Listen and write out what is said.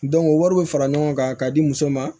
o wari bɛ fara ɲɔgɔn kan k'a di muso ma